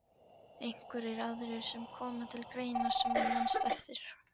Einhverjir aðrir sem koma til greina sem þú manst eftir?